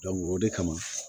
o de kama